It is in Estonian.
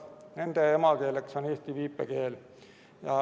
Nende emakeeleks on eesti viipekeel.